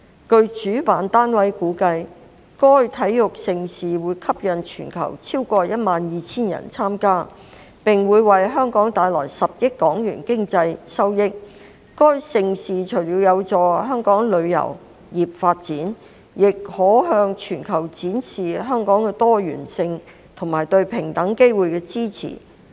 據主辦單位估計，該體育盛事會吸引全球超過12000人參加，並會為香港帶來10億港元的經濟收益；該盛事除了有助香港旅遊業發展，也可向全球展示香港的多元性和對平等機會的支持。